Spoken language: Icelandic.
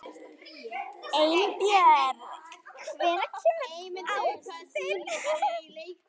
Einbjörg, hvenær kemur ásinn?